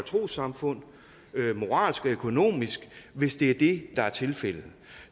trossamfund moralsk og økonomisk hvis det er det der er tilfældet